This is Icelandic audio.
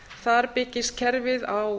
þar byggist kerfið á